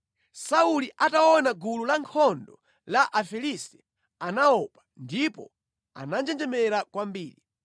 Sauli ataona gulu lankhondo la Afilisti anaopa ndipo ananjenjemera kwambiri.